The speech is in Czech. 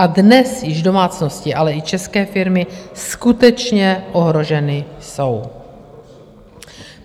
A dnes již domácnosti, ale i české firmy skutečně ohroženy jsou.